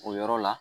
O yɔrɔ la